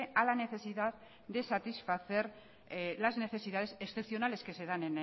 a la necesidad de satisfacer las necesidades excepcionales que se dan